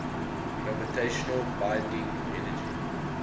gravitational binding energy